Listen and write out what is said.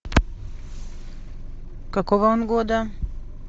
какого он года